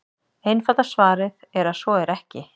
Einfalda svarið er að svo er ekki.